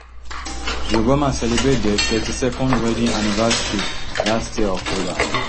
di obamas celebrate dia thirty-twond wedding anniversary last year october